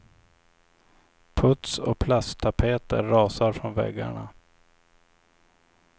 Puts och plasttapeter rasar från väggarna.